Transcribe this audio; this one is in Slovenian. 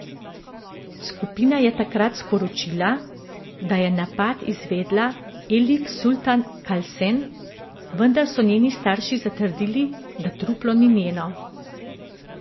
Skupina je takrat sporočila, da je napad izvedla Elif Sultan Kalsen, vendar so njeni starši zatrdili, da truplo ni njeno.